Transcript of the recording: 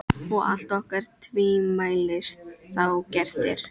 Og allt orkar tvímælis þá gert er.